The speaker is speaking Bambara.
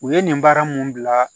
U ye nin baara mun bila